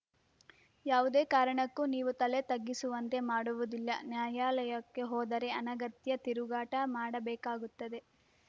ಯಾವುದೇ ಕಾರಣಕ್ಕೂ ನೀವು ತಲೆ ತಗ್ಗಿಸುವಂತೆ ಮಾಡುವುದಿಲ್ಲ ನ್ಯಾಯಾಲಯಕ್ಕೆ ಹೋದರೆ ಅನಗತ್ಯ ತಿರುಗಾಟ ಮಾಡಬೇಕಾಗುತ್ತದೆ